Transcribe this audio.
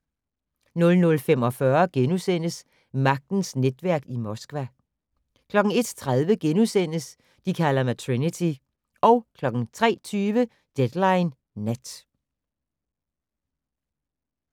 00:45: Magtens netværk i Moskva * 01:30: De kalder mig Trinity * 03:20: Deadline Nat